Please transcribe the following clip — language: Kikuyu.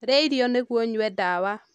Rîa irio nîguo ûnyue ndawa.